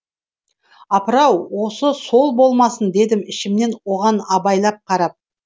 апырау осы сол болмасын дедім ішімнен оған абайлап қарап